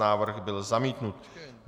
Návrh byl zamítnut.